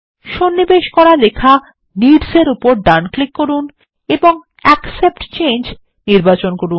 সন্নিবেশ করা লেখা নিডস এর উপর ডান ক্লিক করুন এবং অ্যাকসেপ্ট চেঞ্জ নির্বাচন করুন